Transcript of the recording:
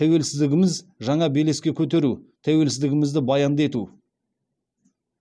тәуелсіздігіміз жаңа белеске көтеру тәуелсіздігімізді баянды ету